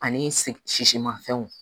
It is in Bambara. Ani sisimafɛnw